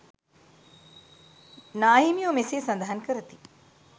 නාහිමියෝ මෙසේ සඳහන් කරති.